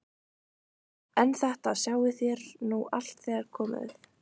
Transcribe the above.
En þetta sjáið þér nú allt þegar þér komið.